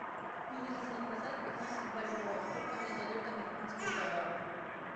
мне нужно продать пятнадцать бальбоа сколько мне дадут американских долларов